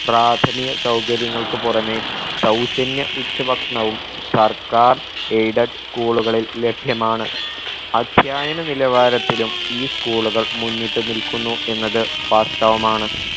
പ്രാഥമിക സൗകര്യങ്ങൾക്ക് പുറമെ സൗജന്യ ഉച്ച ഭക്ഷണവും സർക്കാർ aided school കളിൽ ലഭ്യമാണ് അദ്ധ്യായന നിലവാരത്തിലും ഈ school കൾ മുന്നിട്ട് നിൽക്കുന്നു എന്നത് വാസ്തവമാണ്